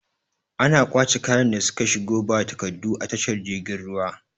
Ana kwace kayan da suka shigo ba takaddu a tashar girgin ruwa